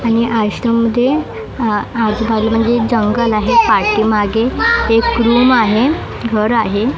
आणि आश्रम मध्ये अ आजुबाजू म्हणजे जंगल आहे पाठीमागे एक रूम आहे घर आहे.